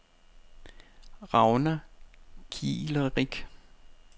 Ragna Kiilerich